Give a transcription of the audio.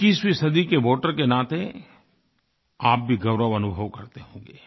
21वीं सदी के वोटर के नाते आप भी गौरव अनुभव करते होंगे